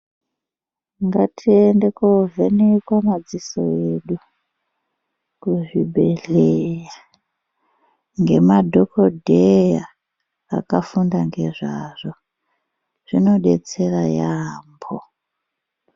Ngatiende ko vhenekwa madziso edu ku zvibhedhleya nge madhokodheya akafunda ngezvazvo zvino detsera yambo.